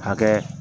Hakɛ